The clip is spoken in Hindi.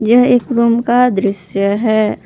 यह एक रूम का दृश्य है।